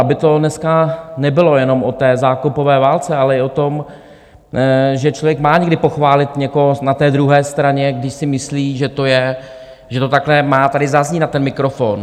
Aby to dneska nebylo jenom o té zákopové válce, ale i o tom, že člověk má někdy pochválit někoho na té druhé straně, když si myslí, že to takhle má tady zaznít na ten mikrofon.